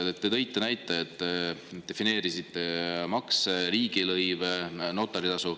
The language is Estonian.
Te tõite näite, te defineerisite makse, riigilõive, notaritasu.